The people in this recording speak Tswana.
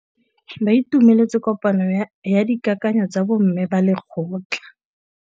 Ba itumeletse kôpanyo ya dikakanyô tsa bo mme ba lekgotla.